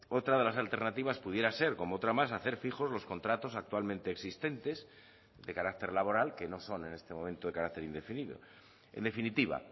otra de las alternativas pudiera ser como otra más hacer fijos los contratos actualmente existentes de carácter laboral que no son en este momento de carácter indefinido en definitiva